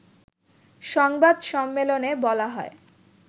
সংবাদ সম্মেলনে বলা হয়